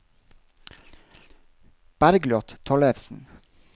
Bergliot Tollefsen